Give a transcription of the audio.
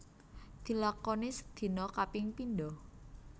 Dilakoni sedina kaping pindo